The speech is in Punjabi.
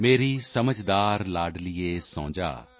ਮੇਰੀ ਸਮਝਦਾਰ ਲਾਡਲੀਏ ਸੋ ਜਾ